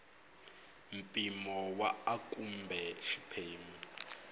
mpimo wa a kumbe xiphemu